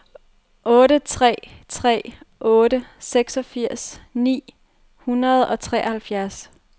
otte tre tre otte seksogfirs ni hundrede og treoghalvfjerds